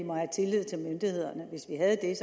havde